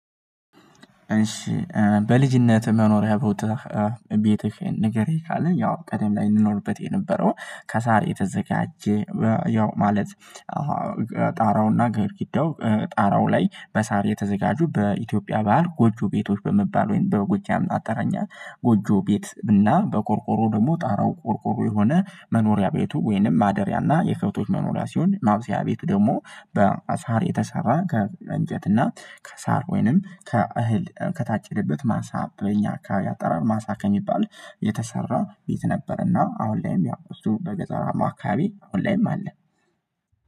እሺ በልጅነት መኖርያ ቦትህ ቤትህን ንገረኝ? ካለ ያው ቀደም ላይ እንኖርበት የነበረው ከሳር የተዘጋጀ ያው ማለት። ጣራውና ግድግዳው ጣራው ላይ በሳር የተዘጋጁ በኢትዮጵያ በዓል ጎጆ ቤቶች በመባል ወይም በጎጃም አጠራኛ ጎጆ ቤት እና በቆርቆሮ ደግሞ ጣራው ቆርቆሮ የሆነ መኖሪያ ቤቱ ወይንም ማደሪያ እና የከብቶች መኖሪያ ሲሆን ማብሰያ ቤቱ ደግሞ በሳር የተሰራ ከእንጨት እና ከሳር ወይንም ከእህል ከታጨደበት ማሳ በእኛ አካባቢ አጠራር ማሳ ከሚባል የተሰራ ቤት። ነበርና አሁን ላይም ያው እሱ በገጠራማ አካባቢ አሁን ላይም አለ።